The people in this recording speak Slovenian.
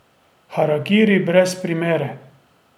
Harakiri brez primere.